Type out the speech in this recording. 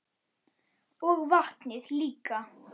Og vatnið líka.